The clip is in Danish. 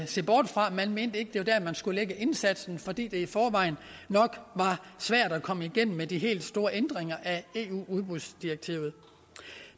se bort fra man mente ikke det var dér man skulle lægge indsatsen fordi det i forvejen nok var svært at komme igennem med de helt store ændringer af eu udbudsdirektivet